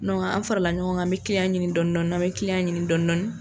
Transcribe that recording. an fara la ɲɔgɔn kan an bɛ ɲini dɔni dɔni an bɛ ɲini dɔni dɔni.